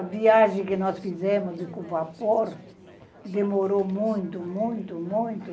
A viagem que nós fizemos com o vapor demorou muito, muito, muito.